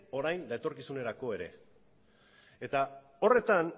orain eta etorkizunerako ere eta horretan